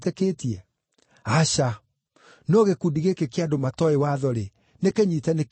Aca! No gĩkundi gĩkĩ kĩa andũ matooĩ watho-rĩ, nĩkĩnyiite nĩ kĩrumi.”